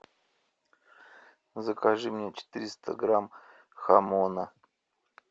закажи мне четыреста грамм хамона